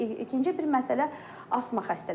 İkinci bir məsələ asma xəstələri olar.